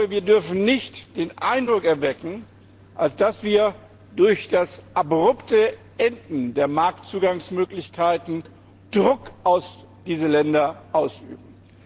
Wir dürfen nicht den Eindruck erwecken, dass wir durch das abrupte Beenden der Marktzugangsmöglichkeiten Druck auf diese Länder ausüben.